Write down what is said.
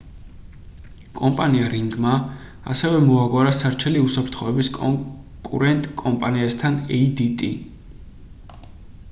კომპანია ring-მა ასევე მოაგვარა სარჩელი უსაფრთხოების კონკურენტ კომპანიასთან adt